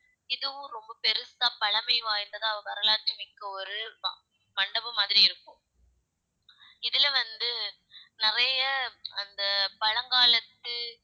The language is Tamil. இதுவும் ரொம்ப பெருசா பழமை வாய்ந்ததா வரலாற்று மிக்க ஒரு ம~ மண்டபம் மாதிரி இருக்கும் இதுல வந்து நிறைய அந்த பழங்காலத்து